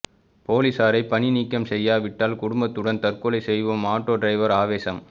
போலீசாரை பணி நீக்கம் செய்யாவிட்டால் குடும்பத்துடன் தற்கொலை செய்வோம் ஆட்டோ டிரைவர் ஆவேசம்